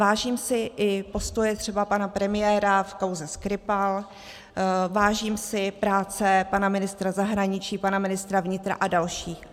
Vážím si i postoje třeba pana premiéra v kauze Skripal, vážím si práce pana ministra zahraničí, pana ministra vnitra a dalších.